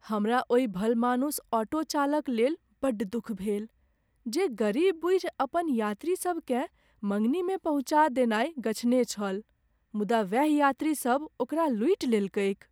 हमरा ओहि भलमानुस ऑटो चालक लेल बड्ड दुख भेल जे गरीब बूझि अपन यात्री सबकेँ मङ्गनीमे पहुँचा देनाइ गछने छल मुदा वैह यात्रीसब ओकरा लूटि लेलकैक।